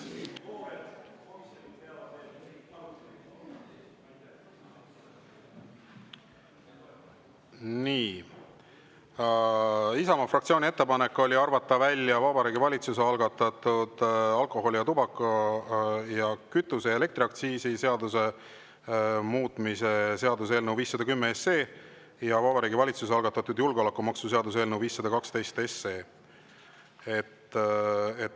Nii, Isamaa fraktsiooni ettepanek on arvata välja Vabariigi Valitsuse algatatud alkoholi‑, tubaka‑, kütuse‑ ja elektriaktsiisi seaduse muutmise seaduse eelnõu 510 ja Vabariigi Valitsuse algatatud julgeolekumaksu seaduse eelnõu 512.